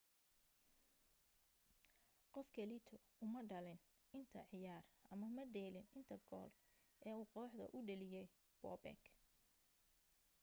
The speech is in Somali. qof kaleeto uma dheelin inta cayaar ama madhalinin inta gool ee uu kooxda u dhaliye bobek